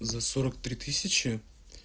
за сорок три тысячи